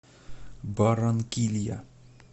барранкилья